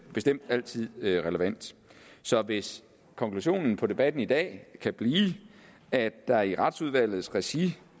bestemt altid er relevant så hvis konklusionen på debatten i dag kan blive at der i retsudvalgets regi